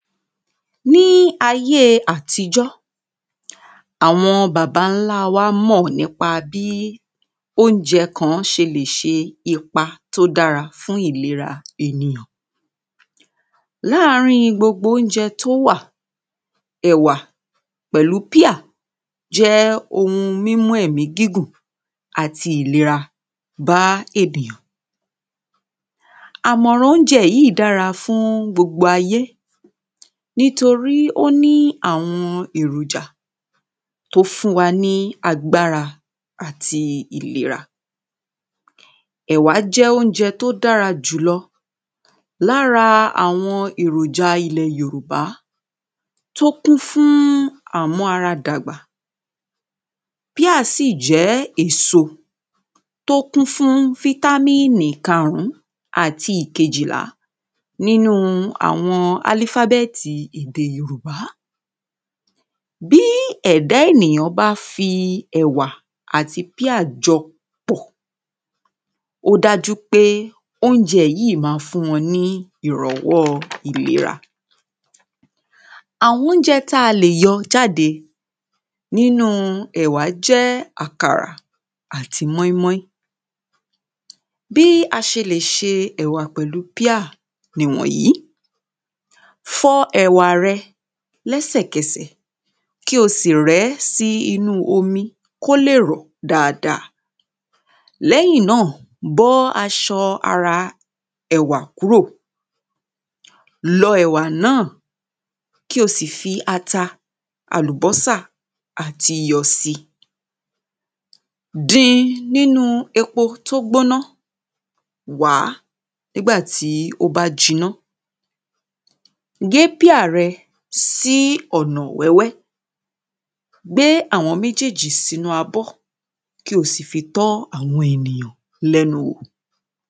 ní ayé àtijọ́ àwọn bàbáńlá wa mọ̀ nípa bí oúnjẹ kan ṣe lè ṣe ipa tó dára fún ìlera ènìyàn láàrín gbogbo oúnjẹ tí ó wà ẹ̀wà pẹ̀lú píà jẹ́ ohun mímú ẹ̀mí gùn àti ìlera bá ènìyàn àmọ̀ràn oúnjẹ yìí dára fún gbogbo ayé nítorí ó ní àwọn èròjà tó fún wa lágbára àti ìlera ẹ̀wà jẹ́ oúnjẹ tó dára jù lọ lára àwọn èròjà ilẹ̀ yorùbá tó kún fún àmú ara dàgbà píà sì jẹ́ èso tó kún fún fítámínì karùn-ún àti ìkejìlá nínú àwọn álífábẹ́tì èdè yorùbá bí ẹ̀dá ènìyàn bá fi ẹ̀wà àti píà jọ pọ̀ ó dájú pé oúnjẹ yìí máa fún wọn ní ìrànwọ́ ìlera àwọn oúnjẹ talè yọ jáde nínu ẹ̀wà jẹ́ àkàrà àti mọ́ín-mọ́ín bí a ṣe lè ṣe ẹ̀wà pẹ̀lú píà nì wọ̀nyí fọ ẹ̀wà rẹ lẹ́ṣẹ̀kẹṣẹ̀ kí o sì rẹ́ sínú omi kí ó lè rọ̀ dáadáa lẹ́yìn náà bọ́ aṣọ ara ẹ̀wà kúrò lọ ẹ̀wà náà kí o sì fi ata, àlùbọ́sà àti iyọ̀ si din nínú epo tó gbóná, wàá nígbà tí ó bá jiná gé píà rẹ sí ọ̀nà wẹ́wẹ́ gbé àwọn méjèèjì sínú abọ́ kí o sì fi tọ́ àwọn ènìyàn lẹ́nu wò